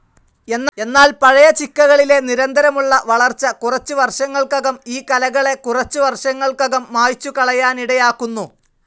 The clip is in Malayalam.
എന്നാൽ പഴയ ചിക്കകളിലെ നിരന്തരമുള്ള വളർച്ച കുറച്ച് വർഷങ്ങൾക്കകം ഈ കലകളെ കുറച്ചുവർഷങ്ങൾക്കകം മായ്ച്ചുകളയാനിടയാക്കുന്നു.